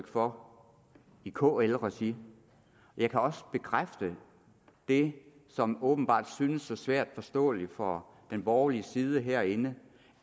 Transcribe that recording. for i kl regi jeg kan også bekræfte det som åbenbart synes så svært forståeligt for den borgerlige side herinde